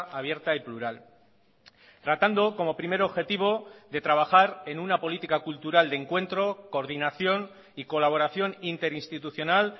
abierta y plural tratando como primer objetivo de trabajar en una política cultural de encuentro coordinación y colaboración interinstitucional